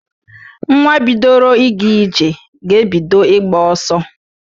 Nwa bidoro ịga ije ga-ebido ịgba ọsọ.